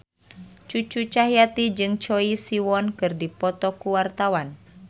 Cucu Cahyati jeung Choi Siwon keur dipoto ku wartawan